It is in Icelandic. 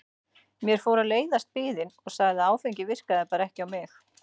Mér fór að leiðast biðin og sagði að áfengið virkaði bara ekki á mig.